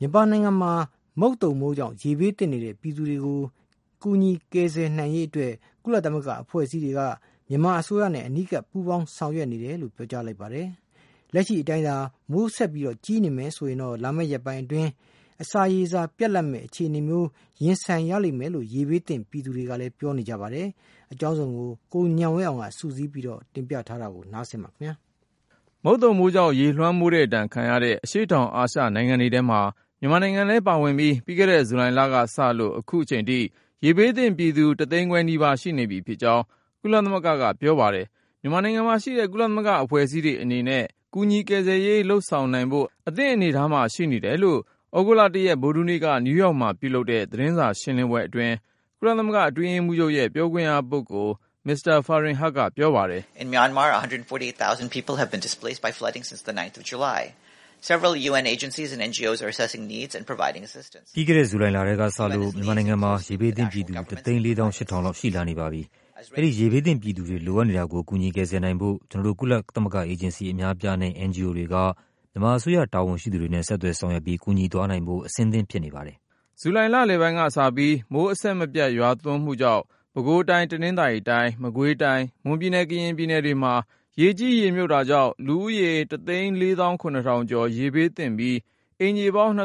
မြန်မာနိုင်ငံမှာ မုတ်သုန်မိုးကြောင့် ရေဘေးသင့်နေတဲ့ ပြည်သူတွေကို ကယ်ဆယ် ကူညီနိုင်ဖို့အတွက် ကုလသမဂ္ဂ အဖွဲ့အစည်းတွေက မြန်မာအစိုးရနဲ့ အနီးကပ် ပူးပေါင်းဆောင်ရွက်နေတယ်လို့ ပြောကြားလိုက်ပါတယ်။ လက်ရှိအတိုင်းသာ မိုးဆက်ကြီးနေမယ် ဆိုရင်တော့ လာမယ့်ရက်ပိုင်းအတွင်း အစာရေစာ ပြတ်လပ်မယ့် အခြေအနေနဲ့ ရင်ဆိုင်ရလိမ့်မယ်လို့ ရေဘေးသင့်ပြည်သူတွေက ပြောပါတယ်။ ကိုဉာဏ်ဝင်းအောင်က စုစည်းတင်ပြထားပါတယ်။ မုတ်သုန်မိုးကြောင့် ရေလွှမ်းမိုးတဲ့ဒဏ် ခံရတဲ့ အရှေ့တောင်အာရှနိုင်ငံတွေထဲမှာ မြန်မာနိုင်ငံလည်းပါဝင်ပြီး ပြီးခဲ့တဲ့ ဇူလိုင်လကစလို့ အခု ချိန်ထိ ရေဘေးသင့်ပြည်သူ ၁ သိန်းခွဲနီးပါး ရှိနေပြီဖြစ်ကြောင်း ကုလသမဂ္ဂကပြောပါတယ်။ မြန်မာနိုင်ငံမှာရှိတဲ့ ကုလသမဂ္ဂ အဖွဲ့အစည်းတွေ အနေနဲ့ ကူညီကယ်ဆယ်ရေး လုပ်ဆောင်နိုင်ဖို့ အသင့်အနေထားမှာ ရှိတယ်လို့ သြဂုတ်လ ရက် ဗုဒ္ဓဟူးနေ့က နယူးယောက်မှာပြုလုပ်တဲ့ သတင်းစာရှင်းလင်းပွဲအတွင်း ကုလသမဂ္ဂ အတွင်းရေးမှူးချုပ်ရဲ့ ပြောခွင့်ရပုဂ္ဂိုလ် Farhan Haq ကပြောပါတယ်။ “ ပြီးခဲ့တဲ့ ဇူလိုင်လထဲကစလို့ မြန်မာနိုင်ငံမှာ ရေဘေးသင့်ပြည်သူ ၁သိန်း ၄သောင်း ၈ထောင်လောက် ရှိလာနေပါပြီ။ အဲဒီ ရေဘေးသင့် ပြည်သူတွေ လိုအပ်နေတာကို ကူညီကယ်ဆယ်နိုင်ဖို့ ကျနော်တို့ ကုလသမဂ္ဂအေဂျင်စီ အများအပြားနဲ့ NGO တွေက မြန်မာအစိုးရ တာဝန်ရှိ သူတွေနဲ့ ဆက်သွယ်ဆောင်ရွက်ပြီး ကူညီသွားနိုင်ဖို့ အဆင်သင့်ဖြစ်နေပါတယ်။" ဇူလိုင်လလယ်ပိုင်းကစပြီး မိုးအဆက်မပြတ် ရွာသွန်းမှုကြောင့် ပဲခူးတိုင်း၊ တနင်္သာရီတိုင်း၊ မကွေးတိုင်း၊ မွန်ပြည်နယ်၊ ကရင်ပြည်နယ်တွေမှာ ရေကြီးရေမြုပ်တာကြောင့် လူဦးရေ ကျော် ရေဘေးသင့်ပြီး၊ အိမ်ခြေပေါင်း အိုး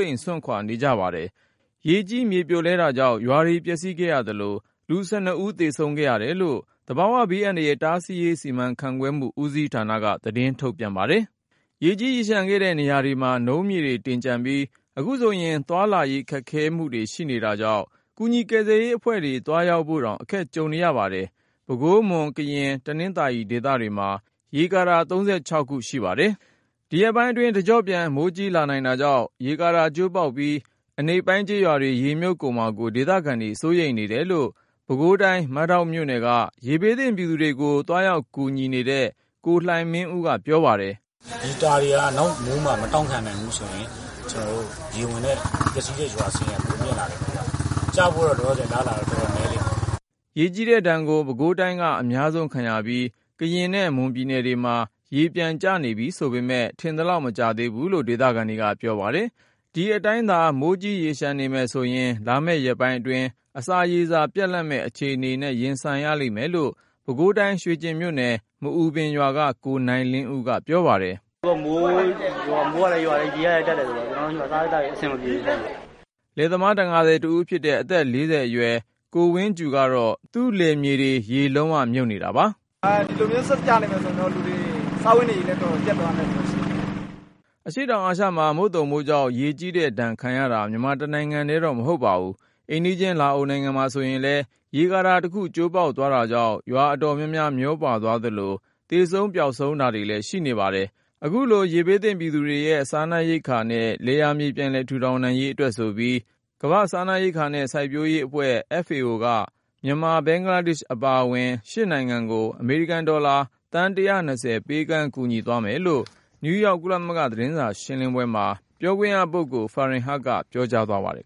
အိမ်စွန့်ခွါ နေကြပါတယ်။ ရေကြီး မြေပြိုလဲတာကြောင့် ရွာတွေပျက်စီးခဲ့ရသလို လူ ဦး သေဆုံးခဲ့ရတယ်လို့ သဘာဝဘေးအန္တရာယ် တားဆီးရေး စီမံခန့်ခွဲမှု ဦးစီးဌာနက သတင်းထုတ်ပြန်ပါတယ်။ ရေကြီးရေလျံခဲ့တဲ့နေရာတွေမှာ နုံးမြေတွေတင်ကျန်ပြီး အခုဆိုရင် သွားလာရေးအခက်အခဲ ရှိနေတာကြောင့် ကူညီကယ်ဆယ်ရေးအဖွဲ့တွေ သွားရောက်ဖို့တောင် အခက်ကြုံနေရပါတယ်။ ပဲခူး၊ မွန်၊ ကရင်၊ တနင်္သာရီဒေသတွေမှာ ရေကာတာ ခု ရှိပါတယ်။ ဒီရက်ပိုင်းအတွင်း တကျော့ပြန်မိုးကြီးလာနိုင်တာကြောင့် ရေကာတာကျိုးပေါက်ပြီး အနိမ့်ပိုင်းကျေးရွာတွေ ရေမြုပ်ကုန်မှာကို ဒေသခံတွေ စိုးရိမ်နေတယ်လို့ ပဲခူးတိုင်း မဒေါက်မြို့နယ်က ရေဘေးသင့်ပြည်သူတွေကို သွားရောက်ကူညီတဲ့ ကိုလှိုင်မင်းဦးက ပြောပါတယ်။ "ဒီတာတွေက နောက်မိုးမှာ မတောင့်ခံနိုင်ဘူးဆိုရင် ရေဝင်တဲ့ ပျက်စီးတဲ့ ရွာစာရင်းက ပိုမြင့်လာလိမ့်မယ် ခင်ဗျ။ ကျဖို့တော့ အလားအလာ တော်တော်နည်းလိမ့်မယ်။" ရေကြီးတဲ့ဒဏ်ကို ပဲခူးတိုင်းက အများဆုံးခံရပြီး၊ ကရင်နဲ့ မွန်ပြည်နယ်တွေမှာ ရေပြန်ကျနေပြီဆိုပေမယ့် ထင်သလောက်မကျသေးဘူးလို့ ဒေသခံတွေက ပြောပါတယ်။ ဒီအတိုင်းသာ မိုးကြီးရေလျံနေမယ်ဆိုရင် လာမယ့်ရက်ပိုင်းအတွင်း အစာရေစာ ပြတ်လပ်မယ့် အခြေအနေနဲ့ ရင်ဆိုင်ရလိမ့်မယ်လို့ ပဲခူးတိုင်း ရွှေကျင်မြို့နယ် မအူပင်ရွာက ကိုနိုင်လင်းဦးက ပြောပါတယ်။ “ အခုက မိုးကလည်းရွာတယ် ရေကလည်းတက်တယ်ဆိုတော့၊ ကျနော်တို့ဆီမှာ စာရေးသောက်ရေးအတွက် အဆင်မပြေဘူး။” လယ်သမား တံငါသည်တဦးဖြစ်တဲ့ အသက် ၄၀ အရွယ်ကိုဝင်းကြူကတော့ သူ့လယ်မြေတွေက ရေလုံးဝမြုပ်နေတာပါ။ “ ဒီလိုမျိုး ဆက်ကြာနေမယ်ဆိုရင်တော့ လူတွေ စားဝတ်နေရေး တော်တော် ပျက်သွားနိုင်မယ့် အခြေနေရှိတယ်။” အရှေ့တောင်အာရှမှာ မုတ်သုန်မိုးကြောင့် ရေကြီးတဲ့ဒဏ်ခံရတာက မြန်မာတနိုင်ငံထဲတော့ မဟုတ်ပါဘူး။ အိမ်နီးချင်း လာအိုနိုင်ငံမှာဆိုရင် ရေကာတာတခု ကျိုးပေါက်သွားတာကြောင့် ရွာအတော်များများ မျောပါသွားသလို၊ သေဆုံးပျောက်ဆုံးတွေလည်း ရှိခဲ့ပါတယ်။ အခုလို ရေဘေးသင့်ပြည်သူတွေရဲ့ စားနပ်ရိက္ခာနဲ့ လယ်ယာမြေ ပြန်လည်ထူထောင်နိုင်ရေး အတွက်ဆိုပြီး ကမ္ဘာ့စားနပ်ရိက္ခာနဲ့ စိုက်ပျိုးရေးအဖွဲ့ (Food and Agriculture Organization) FAO က မြန်မာ၊ ဘင်္ဂလားဒေ့ရှ်အပါအဝင် ၈ နိုင်ငံကို အမေရိကန်ဒေါ်လာ သန်း ပေးကမ်း ကူညီသွားမယ်လို့ နယူးယောက် ကုလ သတင်းစာရှင်းလင်းပွဲမှာ ပြောခွင့်ရ Farhan Haq ကပြောကြားသွားပါတယ်